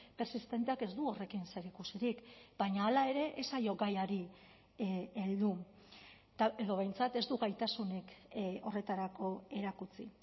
persistenteak ez du horrekin zerikusirik baina hala ere ez zaio gaiari heldu edo behintzat ez du gaitasunik horretarako erakutsi